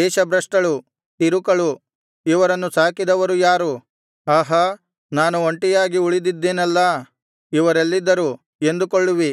ದೇಶಭ್ರಷ್ಟಳು ತಿರುಕಳು ಇವರನ್ನು ಸಾಕಿದವರು ಯಾರು ಆಹಾ ನಾನು ಒಂಟಿಯಾಗಿ ಉಳಿದಿದ್ದೆನಲ್ಲಾ ಇವರೆಲ್ಲಿದ್ದರು ಎಂದುಕೊಳ್ಳುವಿ